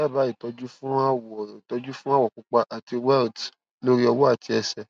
dábàá ìtọjú fún awọ itọju fun awọ pupa ati welts lori ọwọ ati ẹsẹ